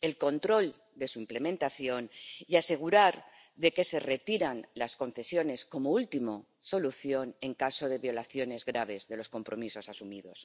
el control de su implementación y asegurarse de que se retiran las concesiones como última solución en caso de violaciones graves de los compromisos asumidos.